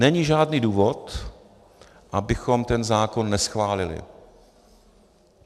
Není žádný důvod, abychom ten zákon neschválili.